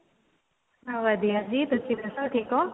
ਹਾਂ ਵਧੀਆ ਜੀ ਤੁਸੀਂ ਦੱਸੋ ਠੀਕ ਓ